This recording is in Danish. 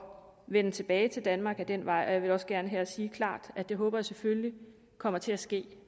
vende tilbage til danmark ad den vej og jeg vil også gerne her sige klart at det håber jeg selvfølgelig kommer til at ske